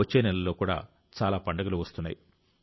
వచ్చే నెలలో చాలా పండుగలు వస్తున్నాయి